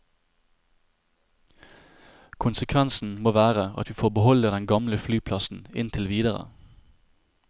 Konsekvensen må være at vi får beholde den gamle flyplassen inntil videre.